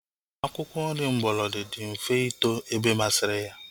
Akwụkwọ nri mgbolodi dị mfe ito ebe masịrị ya